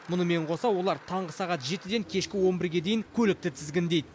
мұнымен қоса олар таңғы сағат жетіден кешкі он бірге дейін көлікті тізгіндейді